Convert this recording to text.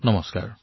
নমস্কাৰ